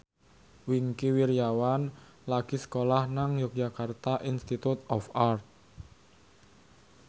Wingky Wiryawan lagi sekolah nang Yogyakarta Institute of Art